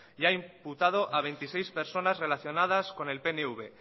y ha imputado a veintiséis personas relacionadas con el pnv